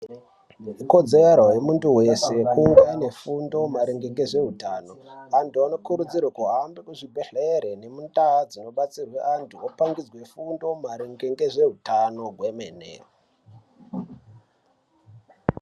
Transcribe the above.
Kodzero yemuntu wese kunge ane fundo maringe ngezveutano antu anokurudzirwa kuhambe kuzvibhehlere nemundaa dzinobatsirwe antu opangidzwe fundo maringe ngezveutano hwemene.